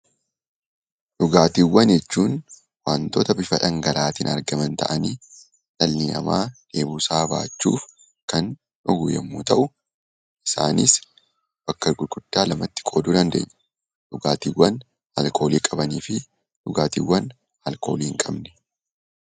Dhugaatiiwwan jechuun wantoota bifa dhangala'oon argaman ta'anii, dhalli namaa dheebuu isaa ba'achuuf kan dhugu yemmuu ta'u. Isaanis bakka gurguddaa lamatti qooduu dandeenya. Isaanis dhugaatiiwwan alkoolii qabaniifi alkoolii hinqabne.